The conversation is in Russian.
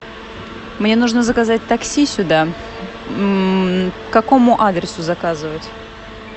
мне нужно заказать такси сюда к какому адресу заказывать